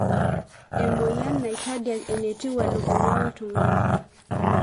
emoyian naitadiak enetiu welukunya oltungani.